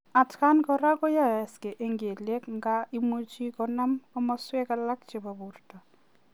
Atkaan koraa koyaaksei eng keliek ngaa imuchii konam komasweek alaak chepo portoo.